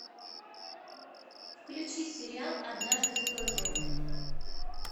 включи сериал однажды в токио